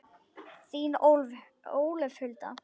Þín, Ólöf Hulda.